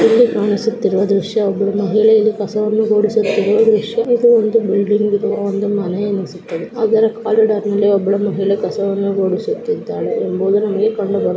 ಇಲ್ಲಿ ಕಾಣಿಸುತ್ತಿರುವ ದೃಶ್ಯ ಒಬ್ಬಳು ಮಹಿಳೆ ಇಲ್ಲಿ ಕಸವನ್ನು ಗುಡಿಸುತ್ತಿರುವ ದೃಶ್ಯ. ಇದು ಒಂದು ಬಿಲ್ಡಿಂಗ್ ಅಥವಾ ಒಂದು ಮನೆ ಅನಿಸುತ್ತದೆ ಅದರ ಕೋರಿಡೋರ್ನಲ್ಲಿ ಒಬ್ಬಳು ಮಹಿಳೆ ಕಸವನ್ನು ಗುಡಿಸುತ್ತಿದ್ದಾಳೆ ಎಂಬುದು ನಮಗೆ ಕಂಡುಬರುತ್ತಿದೆ.